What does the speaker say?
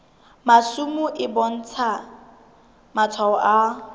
masimo e bontsha matshwao a